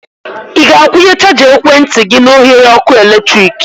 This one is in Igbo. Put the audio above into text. Ị ga-akwunye chaja ekwentị gị na oghere ọkụ eletrik?